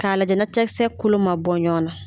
K'a lajɛ na cɛkisɛ kolo ma bɔ ɲɔgɔnna